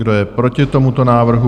Kdo je proti tomuto návrhu?